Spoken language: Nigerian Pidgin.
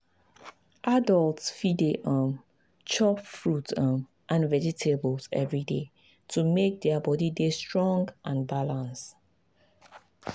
adults fit dey um chop fruit um and vegetables every day to make their body dey strong and balance.